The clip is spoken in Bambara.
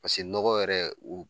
Pase nɔgɔ yɛrɛ u